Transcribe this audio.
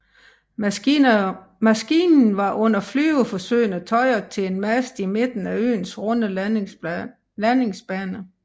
Maskinen var under flyveforsøgene tøjret til en mast i midten af øens runde landingsbane